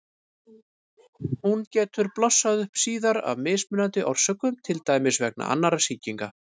Hún getur blossað upp síðar af mismunandi orsökum, til dæmis vegna annarra sýkinga.